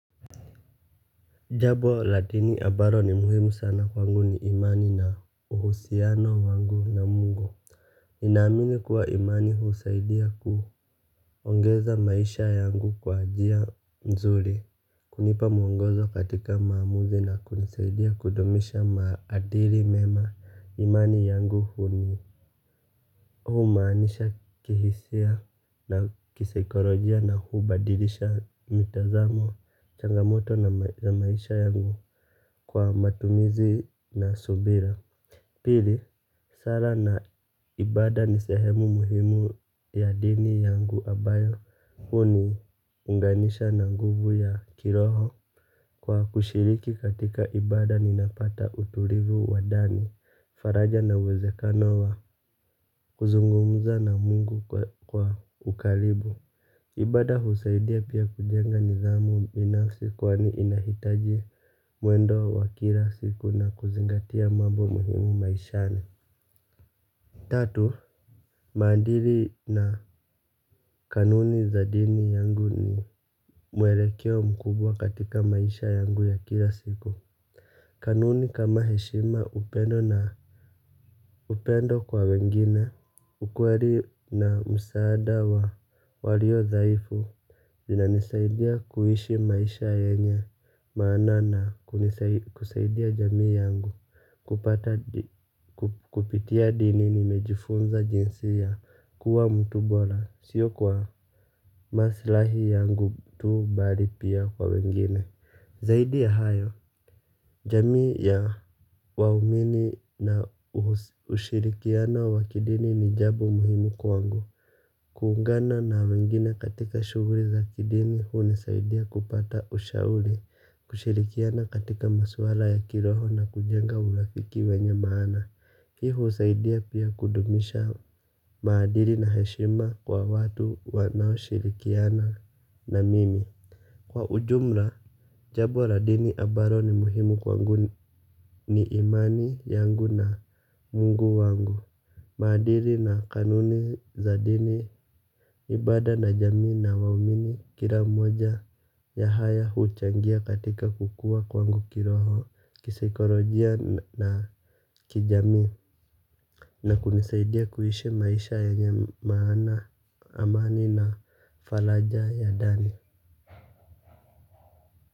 Jambo la dini ambalo ni muhimu sana kwangu ni imani na uhusiano wangu na Mungu ninaamini kuwa imani husaidia kuongeza maisha yangu kwa njia mzuri hunipa mwongozo katika maamuzi na kunisaidia kudumisha maadili mema imani yangu huni humaanisha kihisia na kisaikolojia na hubadilisha mitazamo changamoto na maisha yangu kwa matumizi na subira pili, sala na ibada ni sehemu muhimu ya dini yangu ambayo huniunganisha na nguvu ya kiroho kwa kushiriki katika ibada ninapata utulivu wa ndani faraja na uwezekano wa kuzungumza na Mungu kwa ukaribu ibada husaidia pia kujenga nidhamu binafsi kwani inahitaji mwendo wa kila siku na kuzingatia mambo muhimu maishani tatu, maadili na kanuni za dini yangu ni mwelekeo mkubwa katika maisha yangu ya kila siku kanuni kama heshima upendo na upendo kwa wengine ukweli na msaada wa walio dhaifu zinanisaidia kuishi maisha yenye maana na kusaidia jamii yangu kupitia dini nimejifunza jinsi ya kuwa mtu bora sio kwa maslahi yangu tu bali pia kwa wengine zaidi ya hayo jamii ya waumini na ushirikiano wa kidini ni jambo muhimu kwangu kuungana na wengine katika shughuli za kidini hunisaidia kupata ushauri kushirikiana katika maswala ya kiroho na kujenga uhakiki wenye maana hii husaidia pia kudumisha maadili na heshima kwa watu wanaoshirikiana na mimi kwa ujumla, jambo la dini ambalo ni muhimu kwangu ni imani yangu na Mungu wangu. Maadili na kanuni za dini, ibada na jamii na waumini kila mmoja ya haya huchangia katika kukua kwangu kiroho, kisaikolojia na kijamii. Na kunisaidia kuishi maisha yenye maana, amani na faraja ya ndani.